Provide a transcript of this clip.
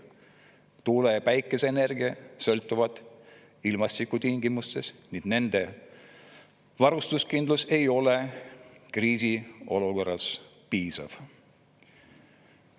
Tuule‑ ja päikeseenergia sõltuvad ilmastikutingimustest ning nendel varustuskindlus ei ole kriisiolukorras piisav.